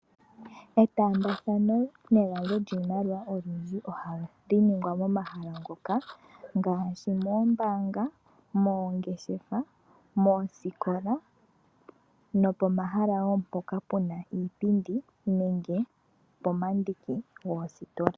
Etaambathano negandjo lyiimaliwa olundji ohali ningwa momahala ngoka ngaashi, moombaanga, moongeshefa, moosikola nopomahala wo mpoka puna iipindi nenge pomandiki goositola.